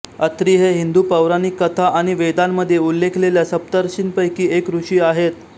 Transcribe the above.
अत्रि हे हिंदू पौराणिक कथा आणि वेदांमध्ये उल्लेखलेल्या सप्तर्षींपैकी एक ऋषी आहेत